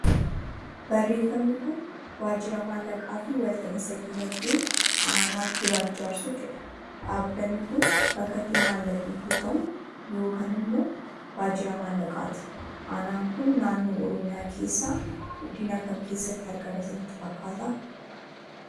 Barreeffamni Kun, waajira maallaqaa fi walta'iinsa dinaagdee aanaa giraar jaarsoo jedha. Dhaabbanni Kun, bakka itti maallaqni kuufamu yookaan immoo waajira maallaqaati. Aanaan Kun, naannoo Oromiyaa keessaa godina kam keessatti argama isinitti fakkaata?